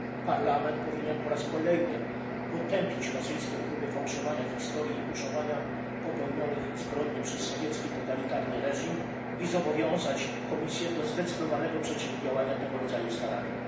Parlament powinien po raz kolejny potępić rosyjskie próby fałszowania historii i tuszowania popełnionych zbrodni przez sowiecki totalitarny reżim i zobowiązać Komisję do zdecydowanego przeciwdziałania tego rodzaju staraniom.